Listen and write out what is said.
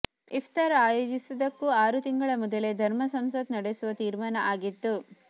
ಇಫ್ತಾರ್ ಆಯೋಜಿಸುವುದಕ್ಕೂ ಆರು ತಿಂಗಳ ಮೊದಲೇ ಧರ್ಮ ಸಂಸತ್ ನಡೆಸುವ ತೀರ್ಮಾನ ಆಗಿತ್ತು